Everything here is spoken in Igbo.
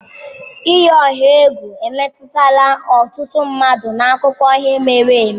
Iyi ọha egwu emetụtala ọtụtụ mmadụ n'akụkọ ihe mere eme